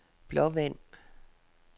Blåvand